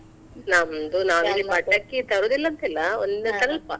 ನಮ್ದು ನಾವಿಲ್ಲಿ ಪಟಾಕಿ ತರುದಿಲ್ಲ ಅಂತ ಇಲ್ಲ ಒಂದು ಸ್ವಲ್ಪ.